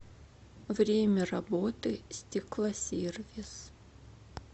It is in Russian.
время работы стеклосервис